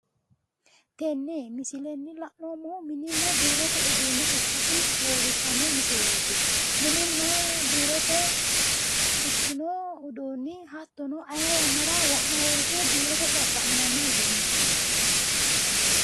tenne misilenni la'neemmohu mininna biirote uduunne ikkasi leellishshanno misileeti mininna biirote ikkino uduunni ayii woyiiteno biirote xaqqa'minanni uduunnichooti